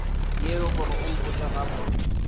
yeo gore o mpotše gabotse